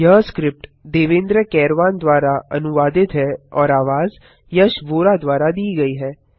यह स्क्रिप्ट देवेन्द्र कैरवान द्वारा अनुवादित है और आवाज यश वोरा द्वारा दी गई है